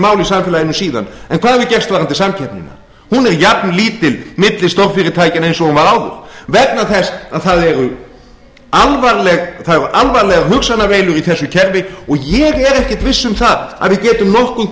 mál í samfélaginu síðan hvað hefur gerst varðandi samkeppnina hún er jafnlítil milli stórfyrirtækjanna og hún var áður vegna þess að það eru alvarlegar hugsanaveilur í þessu kerfi og ég er ekkert viss um að við getum nokkuð